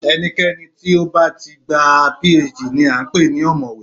Ẹnikẹni tó bá ti gba PhD ni à ń pè ní ọ̀mọ̀wé